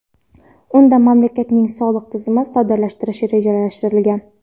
Unda mamlakatning soliq tizimini soddalashtirish rejalashtirilgan.